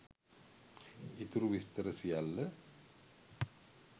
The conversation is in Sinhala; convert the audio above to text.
ඉතුරු විස්තර සියල්ල